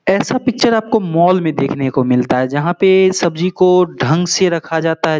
ऐसा पिक्चर आपको मॉल में देखने को मिलता है जहाँ पे सब्जी को ढंग से रखा जाता है।